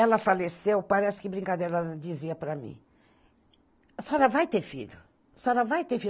Ela faleceu, parece que brincadeira, ela dizia para mim, a senhora vai ter filho, a senhora vai ter